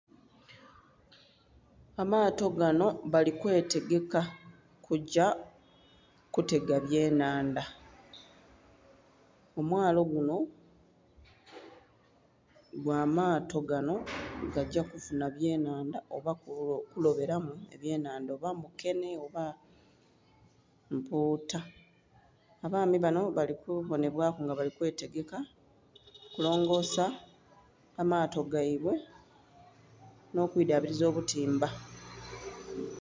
Amato ganho balikwe tegeka kugya kutega byennhandha kumwalo gunho gw'amato ganho gagya kufunha byennhandha oba kulobelamu ebye nnhandha oba mukenhe oba muputa. Abaami banho bali kubonhebwaku nga bali kwetegeka kulongosa amato geibwe nho kwiidhabiliza obutimba.